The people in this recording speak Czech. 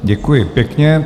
Děkuji pěkně.